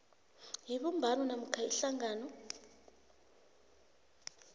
yebumbano namkha ihlangano